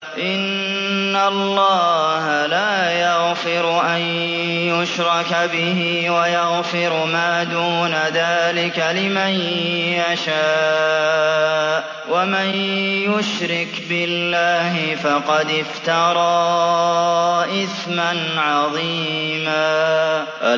إِنَّ اللَّهَ لَا يَغْفِرُ أَن يُشْرَكَ بِهِ وَيَغْفِرُ مَا دُونَ ذَٰلِكَ لِمَن يَشَاءُ ۚ وَمَن يُشْرِكْ بِاللَّهِ فَقَدِ افْتَرَىٰ إِثْمًا عَظِيمًا